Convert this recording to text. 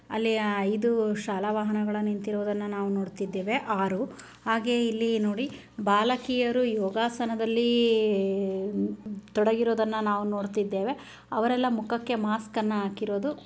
ಅಲ್ಲಿ ಆ ಇದು ಶಾಲಾ ವಾಹನಗಳು ನಿಂತಿರುವುದನ್ನ ನಾವು ನೋಡ್ತಾ ಇದ್ದೇವೆ. ಆರು ಹಾಗೆ ಇಲ್ಲಿ ನೋಡಿ ಬಾಲಕಿಯರು ಯೋಗಾಸನದಲ್ಲಿ ಈ ತೊಡಗಿರೋದನ್ನು ನಾವು ನೋಡ್ತಾ ಇದ್ದೇವೆ ಅವರೆಲ್ಲ ಮುಖಕ್ಕೆ ಮಾಸ್ಕ್ ಅನ್ನ ಹಾಕಿರೋದು.